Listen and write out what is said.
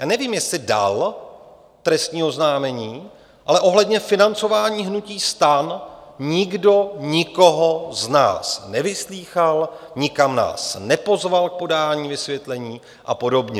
Já nevím, jestli dal trestní oznámení, ale ohledně financování hnutí STAN nikdo nikoho z nás nevyslýchal, nikam nás nepozval k podání vysvětlení a podobně.